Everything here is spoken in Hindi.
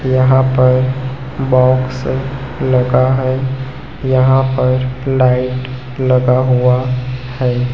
यहां पर बॉक्स लगा है यहां पर लाइट लगा हुआ है।